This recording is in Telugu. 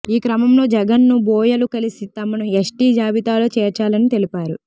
ఈ క్రమంలో జగన్ ను బోయలు కలిసి తమను ఎస్టీ జాబితాలో చేర్చాలని తెలిపారు